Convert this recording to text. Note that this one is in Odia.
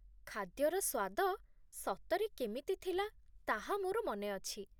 ଖାଦ୍ୟର ସ୍ୱାଦ ସତରେ କେମିତି ଥିଲା ତାହା ମୋର ମନେ ଅଛି।